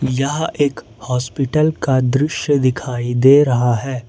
यह एक हॉस्पिटल का दृश्य दिखाई दे रहा है।